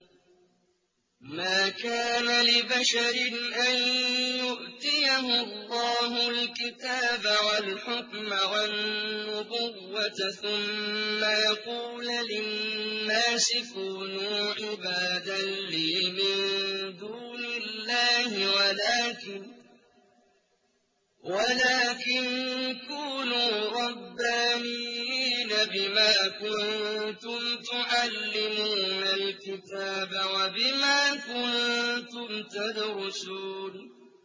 مَا كَانَ لِبَشَرٍ أَن يُؤْتِيَهُ اللَّهُ الْكِتَابَ وَالْحُكْمَ وَالنُّبُوَّةَ ثُمَّ يَقُولَ لِلنَّاسِ كُونُوا عِبَادًا لِّي مِن دُونِ اللَّهِ وَلَٰكِن كُونُوا رَبَّانِيِّينَ بِمَا كُنتُمْ تُعَلِّمُونَ الْكِتَابَ وَبِمَا كُنتُمْ تَدْرُسُونَ